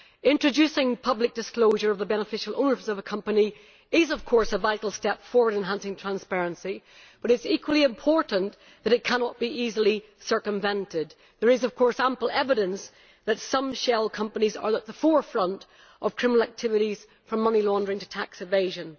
Introducing public disclosure of the beneficial owners of a company is, of course, a vital step forward in enhancing transparency, but it is equally important that it cannot be easily circumvented. There is ample evidence that some shell companies are at the forefront of criminal activities, from money laundering to tax evasion.